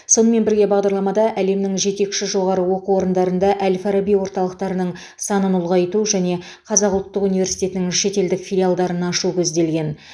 сонымен бірге бағдарламада әлемнің жетекші жоғары оқу орындарында әл фараби орталықтарының санын ұлғайту және қазақ ұлттық университетінің шетелдік филиалдарын ашу көзделген